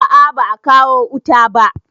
A a ba a kawo wuta ba.